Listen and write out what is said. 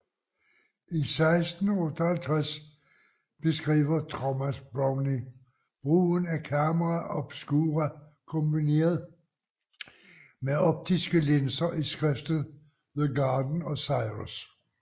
I 1658 beskriver Thomas Browne brugen af camera obscura kombineret med optiske linser i skriftet The Garden of Cyrus